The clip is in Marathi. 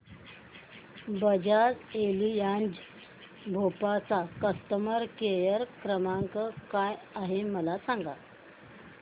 बजाज एलियांज भोपाळ चा कस्टमर केअर क्रमांक काय आहे मला सांगा